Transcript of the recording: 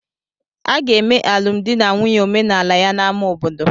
Aga eme alụmdi na nwunye omenala ya na ama obodo